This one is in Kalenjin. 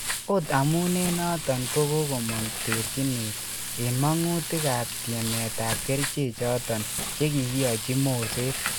Ot amun en noton kogomong terchinet en mangutik ap tiemet ap kerichechoton che kigiyochi Moset